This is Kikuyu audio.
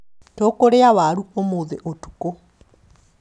Tũkũrĩa waru ũmũthĩ ũtukũ